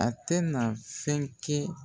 A tɛ na fɛn kɛ